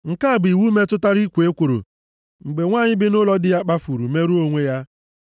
“ ‘Nke a bụ iwu metụtara ikwo ekworo mgbe nwanyị bi nʼụlọ di ya kpafuru merụọ onwe ya.